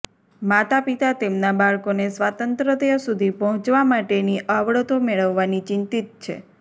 માતાપિતા તેમના બાળકોને સ્વાતંત્ર્ય સુધી પહોંચવા માટેની આવડતો મેળવવાની ચિંતિત છે